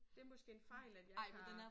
Det måske en fejl at jeg ikke har